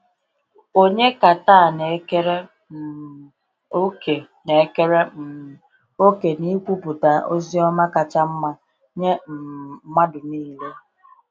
Ònye ka taa na-ekere um òkè na-ekere um òkè n’ikwupụta ozi ọma kacha mma nye um mmadụ niile?